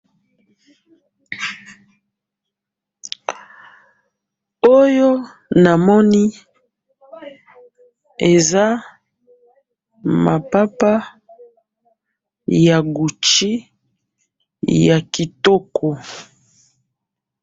oyo namoni eza mapapa ya Gucci ya kitoko